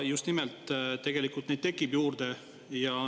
Just nimelt, neid tegelikult tekib juurde.